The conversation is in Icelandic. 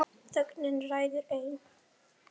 Þögnin ræður ein.